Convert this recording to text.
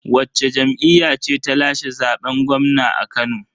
Wacce jam'iyya ce ta lashe zaben gwamna a Kano?